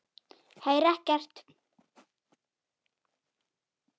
Heyri ekkert.